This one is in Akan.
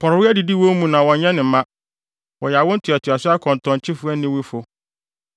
Porɔwee adidi wɔn mu na wɔnyɛ ne mma; wɔyɛ awo ntoatoaso akɔntɔnkyefo aniwufo.